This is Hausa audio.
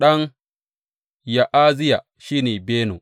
Ɗan Ya’aziya shi ne, Beno.